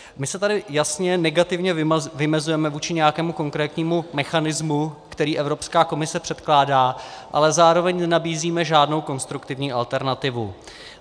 My se tady jasně negativně vymezujeme vůči nějakému konkrétnímu mechanismu, který Evropská komise předkládá, ale zároveň nenabízíme žádnou konstruktivní alternativu.